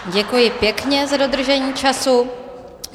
Děkuji pěkně za dodržení času.